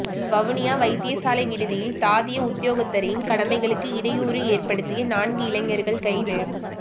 வவுனியா வைத்தியசாலை விடுதியில் தாதிய உத்தியோகத்தரின் கடமைகளுக்கு இடையூறு ஏற்படுத்திய நான்கு இளைஞர்கள் கைது